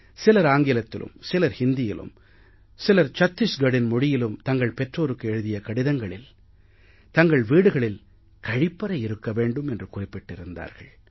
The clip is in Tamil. சிலர் ஆங்கிலத்திலும் சிலர் ஹிந்தியிலும் சிலர் சத்திஸ்கடின் மொழியிலும் தங்கள் பெற்றோருக்கு எழுதிய கடிதத்தில் தங்கள் வீடுகளில் கழிப்பறை இருக்க வேண்டும் என்று குறிப்பிட்டு இருந்தார்கள்